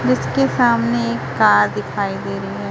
जिसके सामने एक कार दिखाई दे रही है।